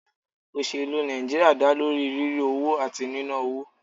Òṣèlú Nàìjíríà dá lórí rírí owó àti níná owó.